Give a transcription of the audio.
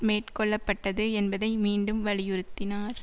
மேற்கொள்ள பட்டது என்பதை மீண்டும் வலியுறுத்தினார்